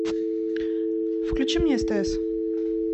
включи мне стс